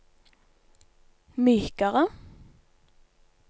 mykere